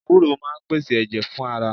Ewúró máa ń pèsè ẹ̀jẹ̀ fún ara